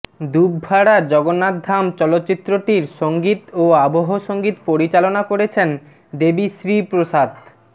দুভভাড়া জগন্নাধাম চলচ্চিত্রটির সঙ্গীত ও আবহ সঙ্গীত পরিচালনা করেছেন দেবী শ্রী প্রসাদ